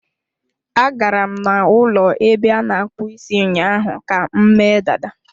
Agara m n'ụlọ ebe a na-akpụ isi ụnyaahụ ka m mee dada.